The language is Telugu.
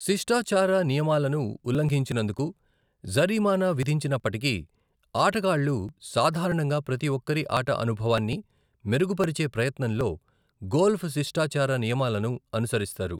శిష్టాచార నియమాలను ఉల్లంఘించినందుకు జరిమానా విధించనప్పటికీ, ఆటగాళ్ళు సాధారణంగా ప్రతి ఒక్కరి ఆట అనుభవాన్ని మెరుగుపరిచే ప్రయత్నంలో గోల్ప్ శిష్టాచార నియమాలను అనుసరిస్తారు.